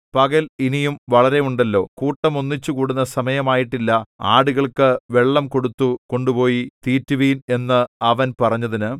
പകൽ ഇനിയും വളരെയുണ്ടല്ലോ കൂട്ടം ഒന്നിച്ച് കൂടുന്ന സമയമായിട്ടില്ല ആടുകൾക്കു വെള്ളം കൊടുത്തു കൊണ്ടുപോയി തീറ്റുവിൻ എന്ന് അവൻ പറഞ്ഞതിന്